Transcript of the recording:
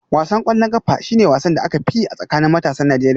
Wasan ƙwallon ƙafa shi ne wasan da aka fi yi a tsakanin matasan Najeriya